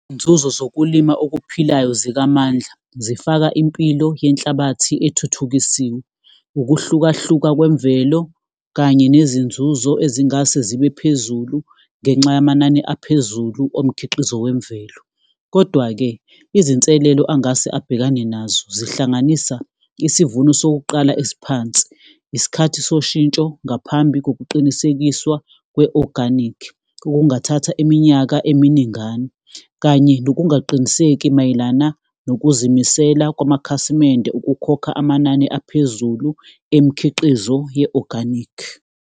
Izinzuzo zokulima okuphilayo zikaMandla, zifaka impilo yenhlabathi ethuthukisiwe, ukuhlukahluka kwemvelo, kanye nezinzuzo ezingase zibe phezulu ngenxa yamanani aphezulu omkhiqizo wemvelo, kodwa-ke, izinselelo angase abhekane nazo zihlanganisa isivuno sokuqala esiphansi, isikhathi soshintsho ngaphambi kokuqinisekiswa kwe-organic. Okungathatha iminyaka eminingana kanye nokungaqiniseki mayelana nokuzimisela kwamakhasimende ukukhokha amanani aphezulu emikhiqizo ye-organic.